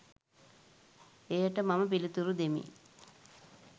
එයට මම පිලිතුරු දෙමි